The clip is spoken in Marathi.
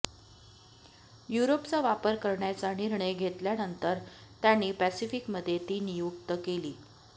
युरोपचा वापर करण्याचा निर्णय घेतल्यानंतर त्यांनी पॅसिफ़िकमध्ये ती नियुक्त केली